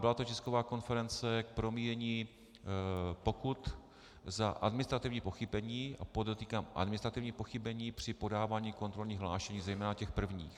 Byla to tisková konference k promíjení pokut za administrativní pochybení, a podotýkám administrativní pochybení při podávání kontrolních hlášení, zejména těch prvních.